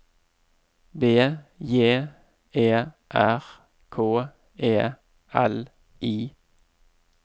B J E R K E L I